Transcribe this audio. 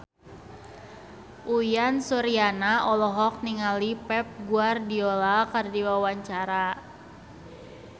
Uyan Suryana olohok ningali Pep Guardiola keur diwawancara